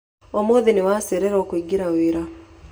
Ũmũthĩ nĩ wacererwo kũingĩra wĩra.